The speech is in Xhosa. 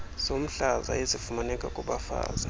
zomhlaza ezifumaneka kubafazi